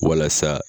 Walasa